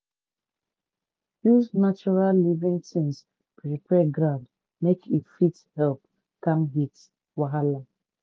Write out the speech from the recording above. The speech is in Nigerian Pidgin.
use natural living tins prepare ground make e fit help calm heat wahala.